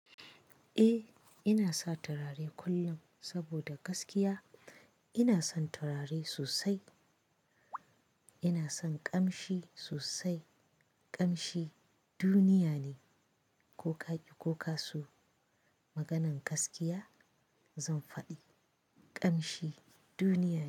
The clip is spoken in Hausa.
Eh, ina sa turare kullum saboda gaskiya ina son turare sosai. Ina son ƙamshi sosai. Ƙamshi duniya ne. Ko ka ki ko ka so maganan gaskiya zan faɗi, ƙamshi duniya ne.